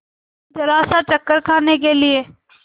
जरासा चक्कर खाने के लिए